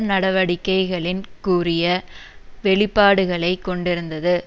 நடவடிக்கைகளின் கூரிய வெளிப்பாடுகளை கொண்டிருந்தது